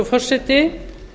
virðulegi forseti